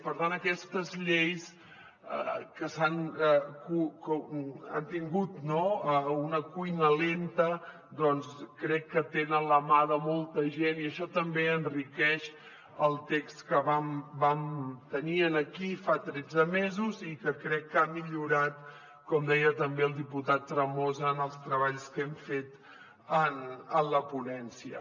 per tant aquestes lleis que han tingut una cuina lenta doncs crec que tenen la mà de molta gent i això també enriqueix el text que vam tenir aquí fa tretze mesos i que crec que ha millorat com deia també el diputat tremosa en els treballs que hem fet en la ponència